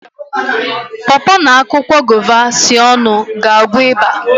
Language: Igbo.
paw paw na akwụkwọ guava sie ọnụ ga-agwọ ịba